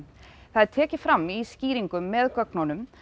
það er tekið fram í skýringum með gögnunum